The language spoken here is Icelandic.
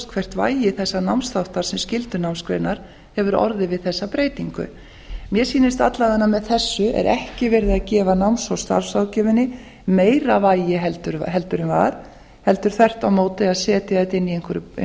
hvert vægi þessa námsþáttar sem skyldunámsgreinar hefur orðið við þessa breytingu mér sýnist að alla vega sé með þessu ekki verið að gefa náms og starfsráðgjöfinni meira vægi heldur en var heldur þvert á móti að setja þetta inn í